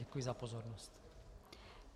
Děkuji za pozornost.